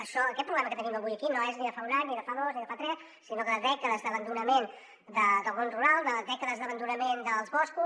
això aquest problema que tenim avui aquí no és ni de fa un any ni de fa dos ni de fa tres sinó de dècades d’abandonament del món rural de dècades d’abandonament dels boscos